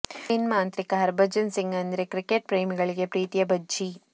spin ಮಾಂತ್ರಿಕ ಹರ್ಭಜನ್ ಸಿಂಗ್ ಅಂದ್ರೆ cricket ಪ್ರೇಮಿಗಳಿಗೆ ಪ್ರೀತಿಯ ಭಜ್ಜಿ